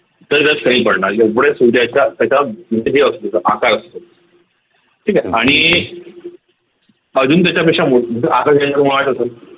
तरी ते कमी पडणार एवढे सूर्याच्या त्याच्या म्हणजे हे असतो आकार असतो ठीक आहे वाढतो